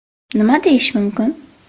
Nima deyish mumkin?